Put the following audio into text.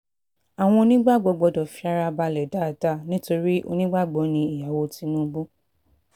àwọn onígbàgbọ́ gbọ́dọ̀ fi ara balẹ̀ dáadáa nítorí onígbàgbọ́ ní ìyàwó tìtúbù